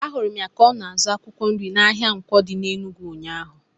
Ahụrụ m ya ka ọ na-azụ akwụkwọ nri n'ahịa Nkwo dị n'Enugwu ụnyaahụ.